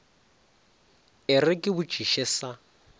e re ke botšiše sa